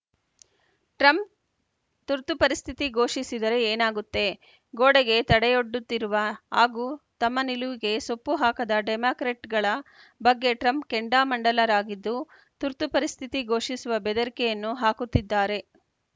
Trump ತುರ್ತು ಪರಿಸ್ಥಿತಿ ಘೋಷಿಸಿದರೆ ಏನಾಗುತ್ತೆ ಗೋಡೆಗೆ ತಡೆಯೊಡ್ಡುತ್ತಿರುವ ಹಾಗೂ ತಮ್ಮ ನಿಲುವಿಗೆ ಸೊಪ್ಪುಹಾಕದ ಡೆಮಾಕ್ರೆಟ್‌ಗಳ ಬಗ್ಗೆ ಟ್ರಂಪ್‌ ಕೆಂಡಾಮಂಡಲರಾಗಿದ್ದು ತುರ್ತು ಪರಿಸ್ಥಿತಿ ಘೋಷಿಸುವ ಬೆದರಿಕೆಯನ್ನೂ ಹಾಕುತ್ತಿದ್ದಾರೆ